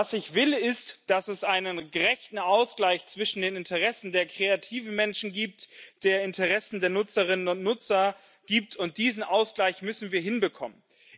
Ich will, dass es einen gerechten Ausgleich zwischen den Interessen der kreativen Menschen und den Interessen der Nutzerinnen und Nutzer gibt, und diesen Ausgleich müssen wir hinbekommen.